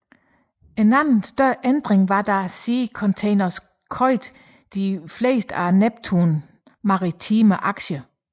En anden større ændring var da Sea Containers købe de fleste af Neptun Maritime aktier